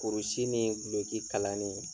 Kurusi ni guloki kalani